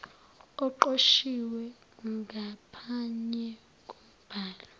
oqoshiwe ngaphanye kombhalo